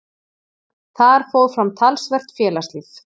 Þar fór fram talsvert félagslíf.